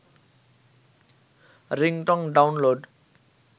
ringtone download